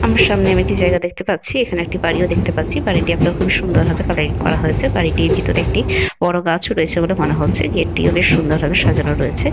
আমার সামনে আমি একটি জায়গা দেখতে পাচ্ছি। এখানে একটি বাড়িও দেখতে পাচ্ছি। বাড়িটি একরকম খুব সুন্দর ভাবে কালারিং করা হয়েছে। বাড়িটির ভিতরে একটি বড় গাছ ও রয়েছে বলে মনে হচ্ছে। গেট টিও বেশ সুন্দর ভাবে সাজানো রয়েছে।